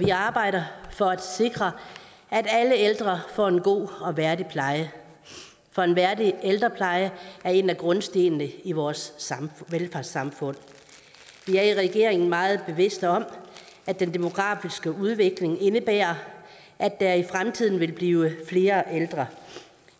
vi arbejder for at sikre at alle ældre får en god og værdig pleje for en værdig ældrepleje er en af grundstenene i vores velfærdssamfund i regeringen meget bevidste om at den demografiske udvikling indebærer at der i fremtiden vil blive flere ældre